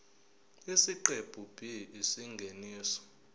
isiqephu b isingeniso